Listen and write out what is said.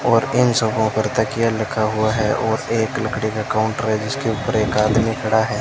और इन सोफ़ों पर तकिया लगा हुआ है और एक लकड़ी का काउंटर है जिसके ऊपर एक आदमी खड़ा है।